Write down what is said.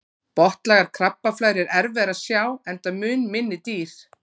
botnlægar krabbaflær er erfiðara að sjá enda mun minni dýr